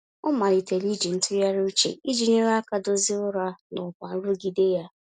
Ọ malitere iji ntụgharị uche iji nyere aka dozie ụra na ọkwa nrụgide ya.